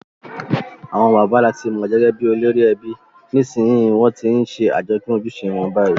Àwon bàbá làti mo gẹ́gẹ́ bi olórí ebi, nìsnsìnyí won ti n se àjopín ojúse won bayi